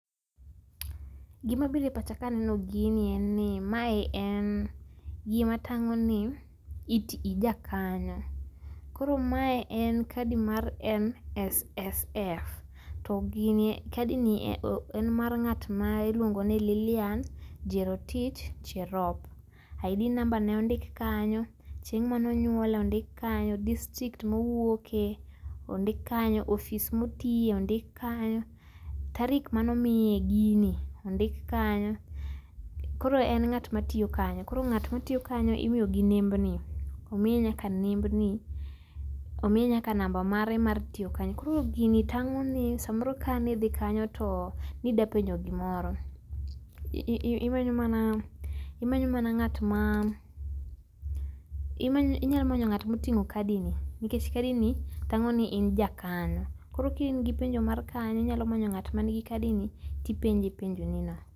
Gima bire pacha kaneno gini en ni ma en gima tang’oni it, ijakanyo. Koro mae en kadi mar NSSF to gini kadini en mar ng’at ma iluongoni Lilian Jerotich Cherop. ID namba ne ondik kanyo, chieng manonyuole ondik kanyo, district mowuoke ondik kanyo, ofis motiye ondik kanyo, tarik manomiye gini ondik kanyo. Koro en ng’at matiyo kanyo. Koro ng’at matiyo kanyo imiyogi nembni omiye nyaka nembni omiye nyaka namba mare mar tiyo kanyo, koro gini tang’oni samoro kanidhi kanyo to nidwa penjo gimoro, iimanyo mana imanyo ng’atma..., ii inyamanyo ng’at ma oting’o kadini, nikech kadini tang’o ni in jakanyo. Koro ki in gi penjo mar kanyo, inyalo manyo ng’at man gi kadini tipenje penjonino.